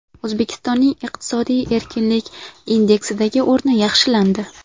O‘zbekistonning Iqtisodiy erkinlik indeksidagi o‘rni yaxshilandi.